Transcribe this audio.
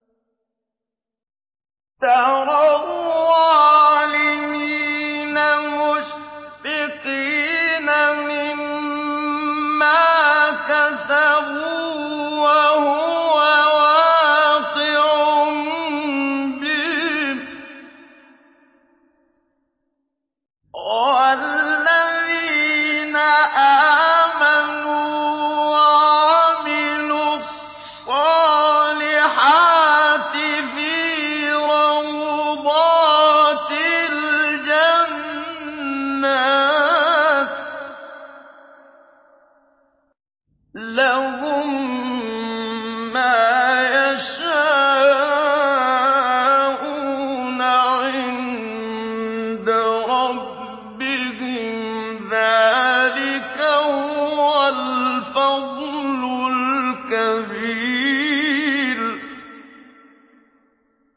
تَرَى الظَّالِمِينَ مُشْفِقِينَ مِمَّا كَسَبُوا وَهُوَ وَاقِعٌ بِهِمْ ۗ وَالَّذِينَ آمَنُوا وَعَمِلُوا الصَّالِحَاتِ فِي رَوْضَاتِ الْجَنَّاتِ ۖ لَهُم مَّا يَشَاءُونَ عِندَ رَبِّهِمْ ۚ ذَٰلِكَ هُوَ الْفَضْلُ الْكَبِيرُ